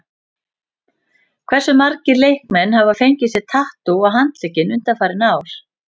Hversu margir leikmenn hafa fengið sér tattú á handlegginn undanfarið ár?